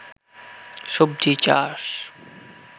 সবজি চাষ